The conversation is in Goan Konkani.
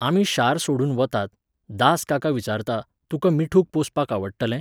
आमी शार सोडून वतात, दास काका विचारता, तुका मिठूक पोसपाक आवडटलें?